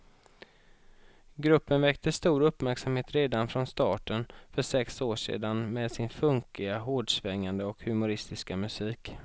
Gruppen väckte stor uppmärksamhet redan från starten för sex år sedan med sin funkiga, hårdsvängande och humoristiska musik.